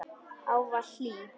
Ávallt hlý.